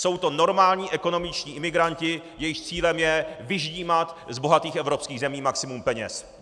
Jsou to normální ekonomičtí imigranti, jejichž cílem je vyždímat z bohatých evropských zemí maximum peněz.